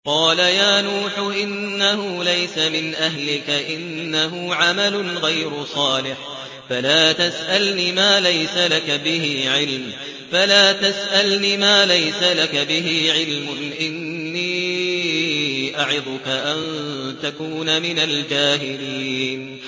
قَالَ يَا نُوحُ إِنَّهُ لَيْسَ مِنْ أَهْلِكَ ۖ إِنَّهُ عَمَلٌ غَيْرُ صَالِحٍ ۖ فَلَا تَسْأَلْنِ مَا لَيْسَ لَكَ بِهِ عِلْمٌ ۖ إِنِّي أَعِظُكَ أَن تَكُونَ مِنَ الْجَاهِلِينَ